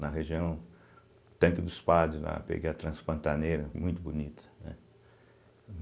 na região Tanque dos Padres, lá, peguei a Transpantaneira, muito bonita, né?